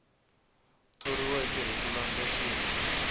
thoriweke hi ku landza xiyenge